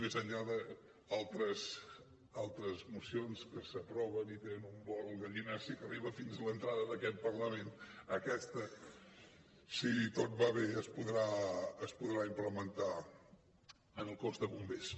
més enllà d’altres mocions que s’aproven i tenen un vol gallinaci que arriba fins a l’entrada d’aquest parlament aquesta si tot va bé es podrà implementar en el cos de bombers